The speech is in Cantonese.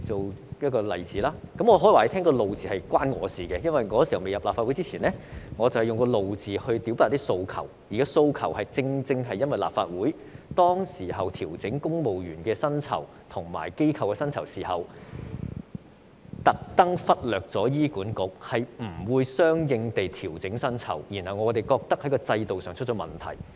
我想告訴大家，這個"怒"字是與我有關，因為我未加入立法會前，我以"怒"字來表達訴求，因為當時立法會調整公務員和公營機構薪酬時，故意忽略醫院管理局，沒有相應地調整我們的薪酬，我們認為是制度上出現問題。